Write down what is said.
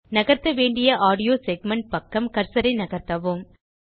நகர்த்தவேண்டிய audio segment பக்கம் கர்சரை நகர்த்தவும்